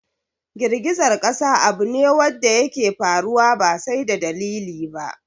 Girgizar ƙasa abu ne wadda yake faruwa ba sai da dalili ba